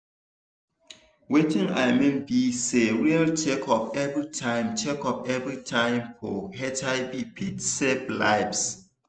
watin i mean be sayreal checkup everytime checkup everytime for hiv fit save lives.